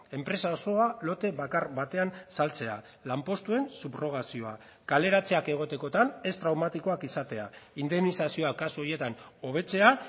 enpresa osoa lote bakar batean saltzea lanpostuen subrogazioa kaleratzeak egotekotan ez traumatikoak izatea indemnizazioa kasu horietan hobetzea